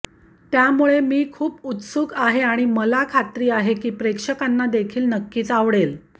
त्यामुळे मी खूप उत्सुक आहे आणि मला खात्री आहे की प्रेक्षकांना देखील नक्कीच आवडेल